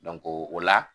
o la